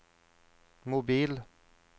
mobil